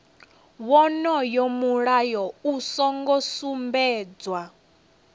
wonoyo mulayo u songo sumbedzwa